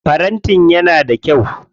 Farantin yana da kyau.